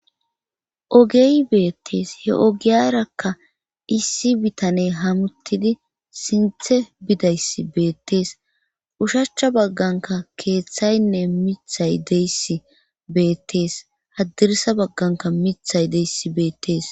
ogey beettees he ogiyarakka issi bitaney hamuttidi sinthe bidays beettees ushachcha bagganka keeththaynne mithay deyssi beettees haddirisa bagganka mithay deyss beettees